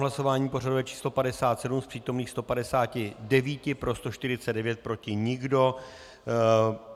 Hlasování pořadové číslo 57, z přítomných 159 pro 149, proti nikdo.